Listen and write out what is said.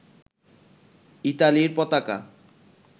ইতালির পতাকা